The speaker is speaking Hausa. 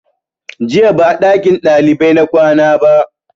Jiya ba a ɗakin ɗalibai na kwana ba